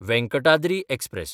Venkatadri express